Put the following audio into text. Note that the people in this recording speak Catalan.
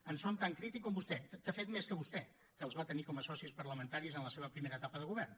en sóc tan crític com vostè de fet més que vostè que els va tenir com a socis parlamentaris en la seva primera etapa de govern